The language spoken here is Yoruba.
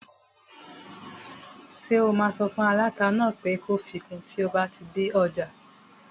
Ṣé o máa sọ fún aláta náà pé kó fi kun tí o bá dé ọjà?